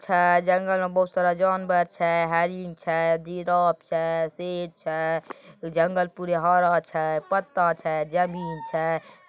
छे जगल में बहुत सारा जानवर छे हरिन छे जिराफ छे शेर छे जंगल पूरा हरा छे पत्ता छे जमीन छे ।